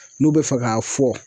N'u bɛ fɛ k'a fɔ